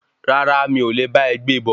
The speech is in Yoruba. Rárá mi o le bá e gbé e bọ̀.